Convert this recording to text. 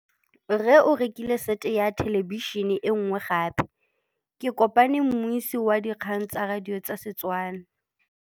Rre o rekile sete ya thêlêbišênê e nngwe gape. Ke kopane mmuisi w dikgang tsa radio tsa Setswana.